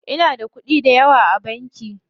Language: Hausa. Inada kuɗi dayawa a banki.